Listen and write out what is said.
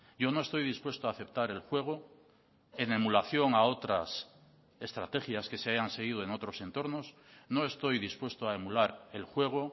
yo no estoy dispuesto a aceptar el juego en emulación a otras estrategias que se hayan seguido en otros entornos no estoy dispuesto a emular el juego